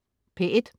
P1: